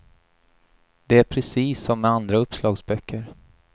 Det är precis som med andra uppslagsböcker.